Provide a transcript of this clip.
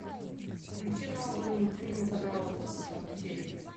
включи новые мультфильмы канала карусель